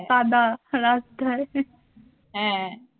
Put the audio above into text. কাদা রাস্তায়